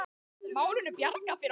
Málinu bjargað fyrir horn.